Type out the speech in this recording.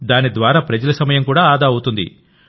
దానిద్వారా ప్రజల సమయం ఆదా అవుతుంది